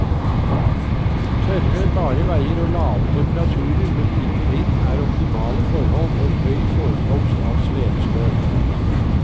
Tørre, bare veier og lave temperaturer med lite vind er optimale forhold for høy forekomst av svevestøv.